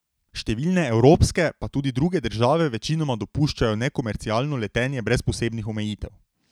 Številne evropske pa tudi druge države večinoma dopuščajo nekomercialno letenje brez posebnih omejitev.